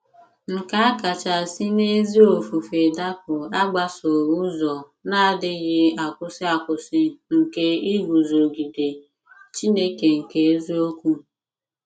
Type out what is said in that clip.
Nke a kacha si n'ezi ofufe dapụ agbasowo ụzọ na-adịghị akwụsị akwụsị nke iguzogide “ Chineke nke eziokwu. ”